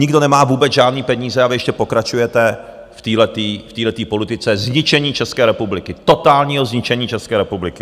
Nikdo nemá vůbec žádné peníze a vy ještě pokračujete v téhleté politice zničení České republiky, totálního zničení České republiky.